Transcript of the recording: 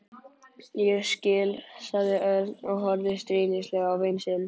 Ég skil sagði Örn og horfði stríðnislega á vin sinn.